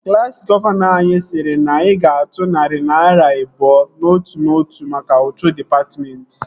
Klassi gọvanọ anyị sịrị na anyị ga-atụ narị naira abụọ n'otu n'otu mka ụtụ dịpatmentị